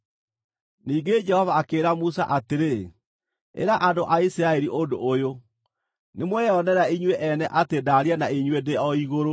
Ningĩ Jehova akĩĩra Musa atĩrĩ, “Ĩra andũ a Isiraeli ũndũ ũyũ: ‘Nĩmweyonera inyuĩ ene atĩ ndaaria na inyuĩ ndĩ o igũrũ: